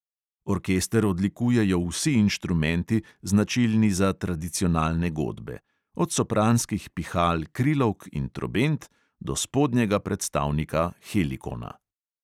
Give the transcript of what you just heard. Orkester odlikujejo vsi inštrumenti, značilni za tradicionalne godbe; od sopranskih pihal krilovk in trobent do spodnjega predstavnika helikona.